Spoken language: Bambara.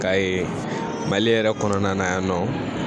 Ka ye mali yɛrɛ kɔnɔna na yan nɔ